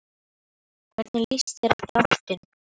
Hvernig líst þér á dráttinn?